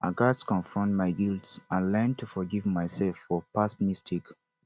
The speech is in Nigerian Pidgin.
i gats confront my guilt and learn to forgive myself for past mistakes